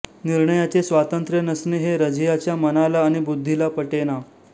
निर्णयाचे स्वातंत्र्य नसणे हे रझियाच्या मनाला आणि बुद्धीला पटेना